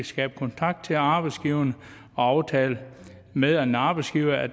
skabe kontakt til arbejdsgiveren og aftale med en arbejdsgiver at